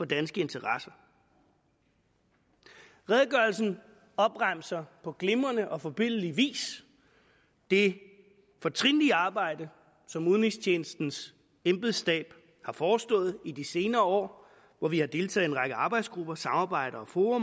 danske interesser redegørelsen opremser på glimrende og forbilledlig vis det fortrinlige arbejde som udenrigstjenestens embedsstab har forestået i de senere år hvor vi har deltaget række arbejdsgrupper samarbejder og fora